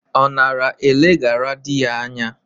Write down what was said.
Ọ nara eleghara dị ya anya?